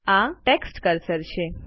આ text cursor છે